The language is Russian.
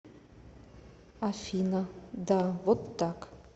афина да вот так